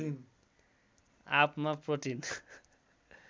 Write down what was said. आँपमा प्रोटिन